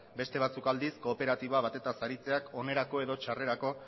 beste batzuk aldiz kooperatiba batez aritzeak onerako edo txarrerako